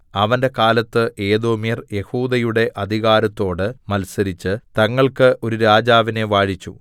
അവന്റെ കാലത്ത് ഏദോമ്യർ യെഹൂദയുടെ അധികാരത്തോട് മത്സരിച്ചു തങ്ങൾക്ക് ഒരു രാജാവിനെ വാഴിച്ചു